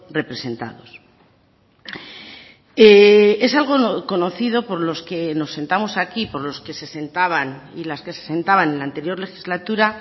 representados es algo conocido por los que nos sentamos aquí por los que se sentaban y las que se sentaban en la anterior legislatura